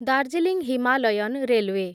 Darjeeling Himalayan railway